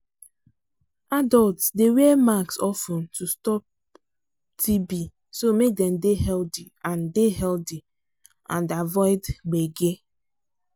adults dey wear mask of ten to stop tb so make dem dey healthy and dey healthy and avoid gbege